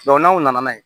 n'aw nana n'a ye